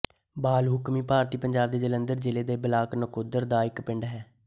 ਬਾਲ ਹੁਕਮੀ ਭਾਰਤੀ ਪੰਜਾਬ ਦੇ ਜਲੰਧਰ ਜ਼ਿਲ੍ਹੇ ਦੇ ਬਲਾਕ ਨਕੋਦਰ ਦਾ ਇੱਕ ਪਿੰਡ ਹੈ